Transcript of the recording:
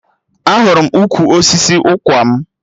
Ahụrụ m ukwu osisi ụkwarm